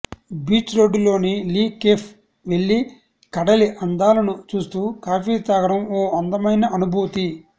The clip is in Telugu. బీచ్ రోడ్డులోని లీ కేఫే వెళ్లి కడలి అందాలను చూస్తూ కాఫీ తాగడం ఓ అందమైన అనుభూతి